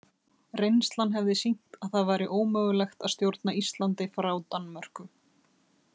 Reynslan hefði sýnt að það væri ómögulegt að stjórna Íslandi frá Danmörku.